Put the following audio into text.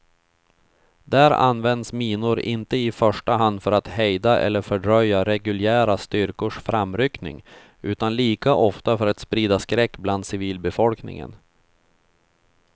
Där används minor inte i första hand för att hejda eller fördröja reguljära styrkors framryckning utan lika ofta för att sprida skräck bland civilbefolkningen.